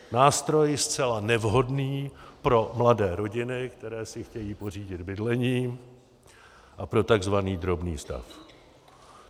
Nástroj zcela nevhodný pro mladé rodiny, které si chtějí pořídit bydlení, a pro tzv. drobný stav.